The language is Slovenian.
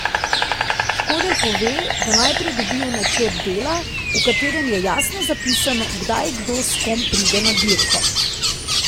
Škedelj pove, da najprej dobijo načrt dela, v katerem je jasno zapisano, kdaj kdo s kom pride na dirko.